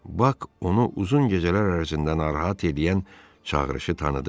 Bak onu uzun gecələr ərzində narahat eləyən çağırışı tanıdı.